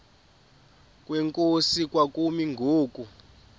kwenkosi kwakumi ngoku